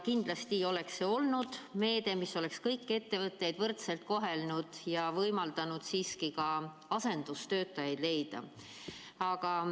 Kindlasti oleks see olnud meede, mis oleks kõiki ettevõtjaid võrdselt kohelnud ja võimaldanud ka asendustöötajaid leida.